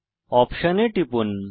option এ টিপুন